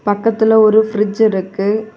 பக்கத்துல ஒரு பிரிட்ஜ் இருக்கு.